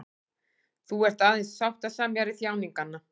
Þú ert aðeins sáttasemjari þjáninganna.